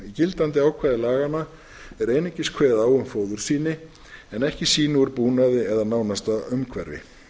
gildandi ákvæðum laganna er einungist kveðið á um fóðursýni en ekki sýni úr búnaði eða nánasta umhverfi